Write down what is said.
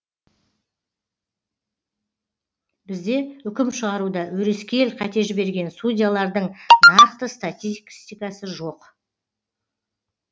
бізде үкім шығаруда өрескел қате жіберген судьялардың нақты статистикасы жоқ